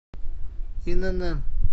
инн